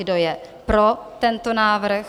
Kdo je pro tento návrh?